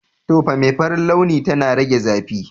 Tufa mai farin launi tana rage zafi.